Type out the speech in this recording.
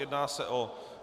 Jedná se o